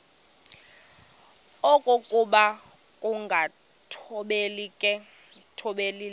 okokuba ukungathobeli le